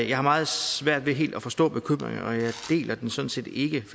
jeg meget svært ved helt at forstå bekymringen og jeg deler den sådan set ikke